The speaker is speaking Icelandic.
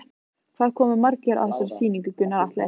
Hvað koma margir að þessari sýningu, Gunnar Atli?